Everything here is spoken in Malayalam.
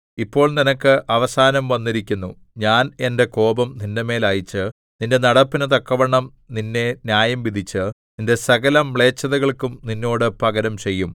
ഇപ്പോൾ നിനക്ക് അവസാനം വന്നിരിക്കുന്നു ഞാൻ എന്റെ കോപം നിന്റെമേൽ അയച്ച് നിന്റെ നടപ്പിനു തക്കവണ്ണം നിന്നെ ന്യായംവിധിച്ച് നിന്റെ സകലമ്ലേച്ഛതകൾക്കും നിന്നോട് പകരം ചെയ്യും